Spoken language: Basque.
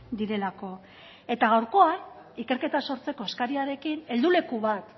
direlako eta gaurkoan ikerketa sortzeko eskariarekin helduleku bat